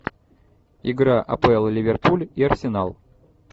игра апл ливерпуль и арсенал